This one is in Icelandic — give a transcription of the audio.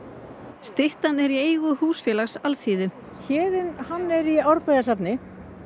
styttan er í eigu húsfélags alþýðu Héðinn hann er í Árbæjarsafni